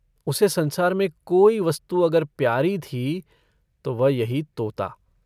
उसे संसार में कोई वस्तु अगर प्यारी थी तो वह यही तोता।